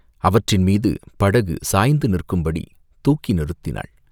அவற்றின் மிது படகு சாய்ந்து நிற்கும்படி தூக்கி நிறுத்தினாள்.